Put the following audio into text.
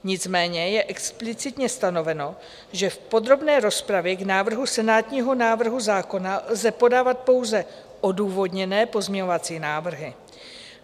Nicméně je explicitně stanoveno, že v podrobné rozpravě k návrhu senátního návrhu zákona lze podávat pouze odůvodněné pozměňovací návrhy.